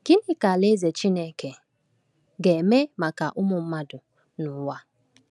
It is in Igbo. Gịnị ka Alaeze Chineke ga-eme maka ụmụ mmadụ n’ụwa?